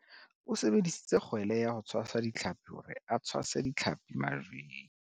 O sebedisitse kgwele ya ho tshwasa ditlhapi hore a tshwase ditlhapi majweng.